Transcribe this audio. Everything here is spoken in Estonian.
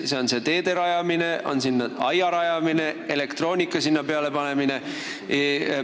Kas teede rajamine, aia rajamine või elektroonika sinna peale panemine?